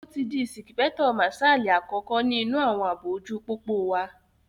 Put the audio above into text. Ó ti di ìsìpẹ́kítọ̀ màsálì àkọ́kọ́ ní inú àwọn àbò ojú pópó wa